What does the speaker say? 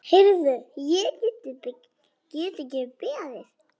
Heyrðu, ég get ekki beðið.